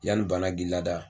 Yanni bana k'i lada